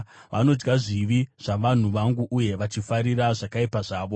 Vanodya zvivi zvavanhu vangu uye vachifarira zvakaipa zvavo.